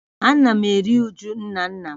Ana m eru uju nna nna m